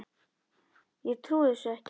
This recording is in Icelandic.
Ég trúi þessu ekki!